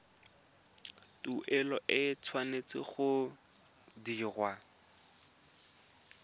tuelo e tshwanetse go dirwa